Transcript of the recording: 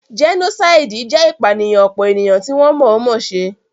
Jẹ́nósáìdì jẹ́ ìpànìyàn ọ̀pọ̀ ènìyàn tí wọ́n mọ̀ọ́ mọ̀ se